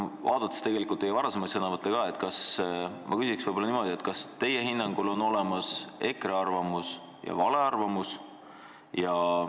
Vaadates ka teie varasemaid sõnavõtte, küsin ma niimoodi: kas teie hinnangul on olemas EKRE arvamus ja vale arvamus?